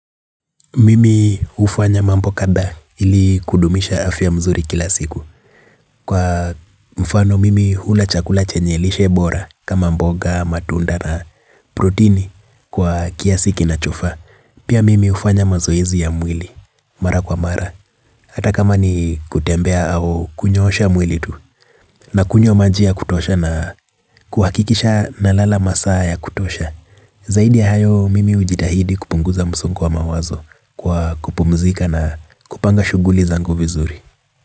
Mimi ufanya mambo kada ili kudumisha afya mzuri kila siku. Kwa mfano mimi hula chakula chenye lishe bora kama mboga, matunda na protini kwa kiasiki na chuoa. Pia mimi ufanya mazoezi ya mwili, mara kwa mara. Ataka ma ni kutembea au kunyosha mwili tu. Na kunyo maji ya kutosha na kuhakikisha na lala masaa ya kutosha. Zaidi ya hayo mimi ujitahidi kupunguza msongo wa mawazo. Kwa kupumzika na kupanga shuguli zangu vizuri.